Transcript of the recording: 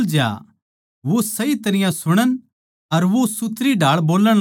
वो सही तरियां सुणन अर वो सुथरीढाळ बोल्लण लाग्या